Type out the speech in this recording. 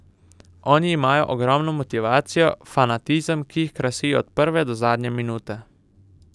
Oni imajo ogromno motivacijo, fanatizem, ki jih krasi od prve do zadnje minute.